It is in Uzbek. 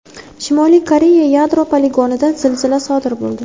Shimoliy Koreya yadro poligonida zilzila sodir bo‘ldi.